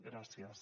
gràcies